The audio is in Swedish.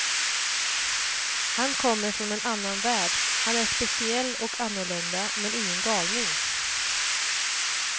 Han kommer från en annan värld, han är speciell och annorlunda men ingen galning.